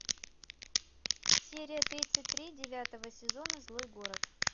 серия тридцать три девятого сезона злой город